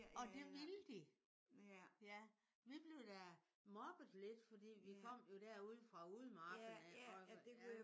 Og det ville de. Ja vi blev da mobbet lidt fordi vi kom jo der ude fra udemarken af også ja